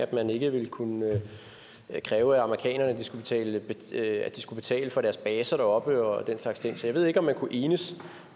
at man ikke ville kunne kræve af amerikanerne at at de skulle betale for deres baser deroppe og den slags ting så jeg ved ikke om man kunne enes